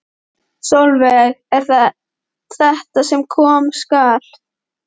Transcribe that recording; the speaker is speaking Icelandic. Sólveig: Er það þetta sem koma skal?